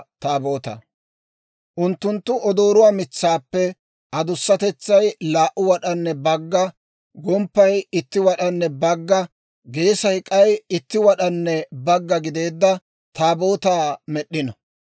«Unttunttu odooruwaa mitsaappe adussatetsay laa"u wad'anne bagga, gomppay itti wad'anne bagga, geesay k'ay itti wad'anne bagga gideedda Taabootaa med'd'ino.